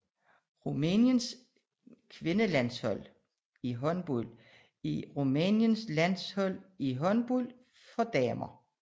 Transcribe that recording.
Rumæniens kvindelandshold i håndbold er Rumæniens landshold i håndbold for kvinder